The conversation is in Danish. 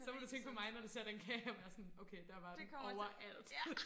Så må du tænke på mig når du ser den kage og være sådan okay der var den overalt